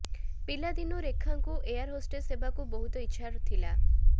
ପିଲାଦିନୁ ରେଖାଙ୍କୁ air hostess ହେବାକୁ ବହୁତ ଇଚ୍ଛା ଥିଲା